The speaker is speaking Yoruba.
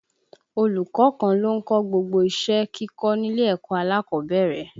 Olùkọ́ kan ló ń kọ́ gbogbo iṣẹ́ kíkọ́ nílé ẹ̀kọ́ alákọ̀ọ́bẹ̀rẹ̀